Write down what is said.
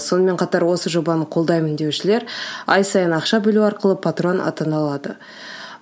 сонымен қатар осы жобаны қолдаймын деушілер ай сайын ақша бөлу арқылы патран атана алады